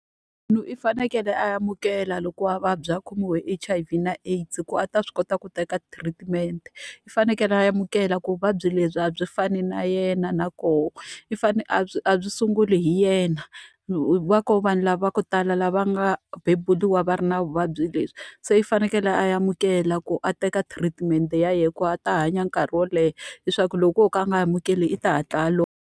Munhu i fanekele a amukela loko a vabya a khomiwa hi H_I_V na AIDS ku a ta swi kota ku teka treatment. I fanekele a amukela ku vuvabyi lebyi a byi fani na yena na kona i fanele a byi a byi sunguli hi yena. Va kona vanhu lava va ku tala lava nga beburiwa va ri na vuvabyi lebyi, se i fanekele a amukela ku a teka treatment-e ya yena ku a ta hanya nkarhi wo leha. Leswaku loko o ka a nga amukeli, i ta hatla a lova.